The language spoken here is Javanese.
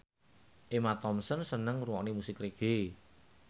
Emma Thompson seneng ngrungokne musik reggae